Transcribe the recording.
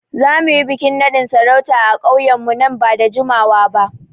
Za mu yi bikin nadin sarauta a ƙauyenmu nan ba da jimawa ba.